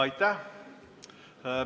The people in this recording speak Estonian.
Aitäh!